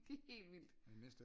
Det helt vildt